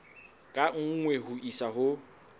ka nngwe ho isa ho